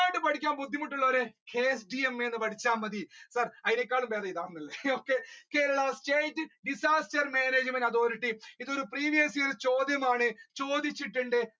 മുഴുവനായിട്ട് പഠിക്കാൻ ബുദ്ധിമുട്ടുളവർ എന്ന് KCMA പഠിച്ച മതി sir അതിനേക്കാളും ബേധം ഇതാണ് okay Kerala state disaster management authority ഇത് ഒരു previous ചോദ്യമാണ് ചോദിച്ചിട്ടുണ്ട്.